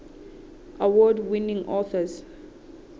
award winning authors